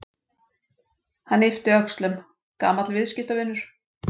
Hann yppti öxlum: Gamall viðskiptavinur.